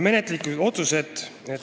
Menetluslikud otsused.